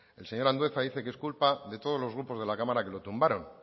el señor andueza dice que es culpa de todos los grupos de la cámara que lo tumbaron